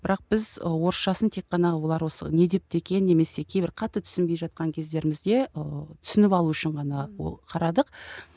бірақ біз і орысшасын тек қана олар осы не депті екен немесе кейбір қатты түсінбей жатқан кездерімізде ыыы түсініп алу үшін ғана ол қарадық